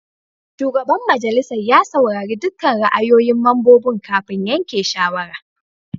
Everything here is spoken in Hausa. Shugaban majalisar ya saurari dukkan ra'ayoyin mambobin kafin yanke shawara.